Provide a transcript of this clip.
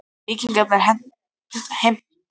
Víkingarnir heimta aðra kúpu af koníaki.